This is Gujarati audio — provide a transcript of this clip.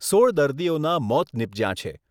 સોળ દર્દીઓના મોત નિપજ્યા છે.